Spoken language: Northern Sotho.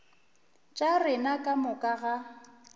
tša rena ka moka ga